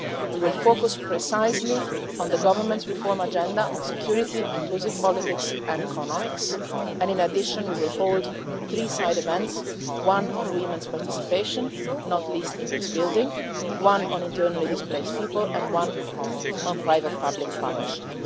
We will focus precisely on the Government's reform agenda, security, inclusive politics and economics, and in addition we will hold three side events, one on women's participation one on internally displaced people and one on private public partnership.